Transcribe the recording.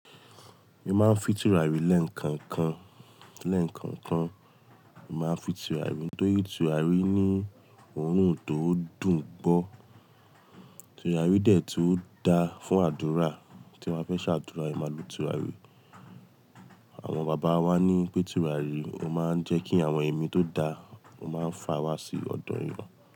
Mo máa ń fi tùràrí lẹ́kankan, lẹ́kankan. Mo máa ń fi tùràrí tóri tùràrí ní òórùn tó dùn gbọ́. Tùràrí dẹ̀ tu dá fún àdúrà tí a bẹ́ ṣe àdúrà, é máa lo tùràrí. Àwọn bàbá wa ní pé tùràrí o máa ń jẹ́ kí àwọn ẹ̀mí tó da, o máa ń fa wá sí ọ̀dọ̀ èyán.